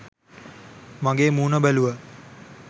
මගේ මූන බැලුව.